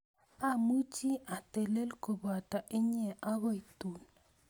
Amuchi atelel kopoto inye agoi tun